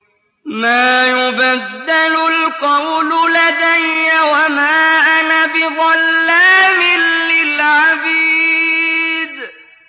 مَا يُبَدَّلُ الْقَوْلُ لَدَيَّ وَمَا أَنَا بِظَلَّامٍ لِّلْعَبِيدِ